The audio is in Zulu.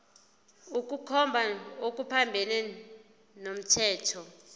ukukhomba okuphambene nomthetho